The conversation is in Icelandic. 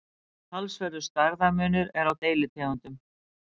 talsverður stærðarmunur er á deilitegundum